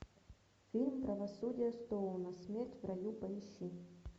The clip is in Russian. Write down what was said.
фильм правосудие стоуна смерть в раю поищи